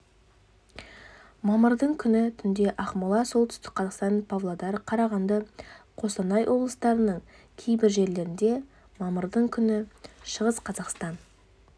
мамырдың күні түнде ақмола солтүстік қазақстан павлодар қарағанды қостанай облыстарының кейбір жерлерінде мамырдың күні шығыс қазақстан